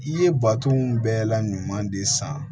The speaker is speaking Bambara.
I ye baton bɛɛ la ɲuman de san